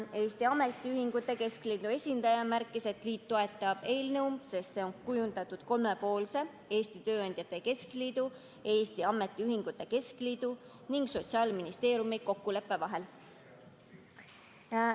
Eesti Ametiühingute Keskliidu esindaja märkis, et liit toetab eelnõu, sest see on kujundatud kolme poole, Eesti Tööandjate Keskliidu, Eesti Ametiühingute Keskliidu ning Sotsiaalministeeriumi kokkuleppel.